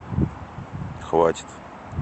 хватит